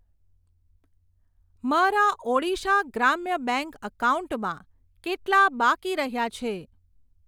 મારા ઓડીશા ગ્રામ્ય બેંક એકાઉન્ટમાં કેટલા બાકી રહ્યા છે?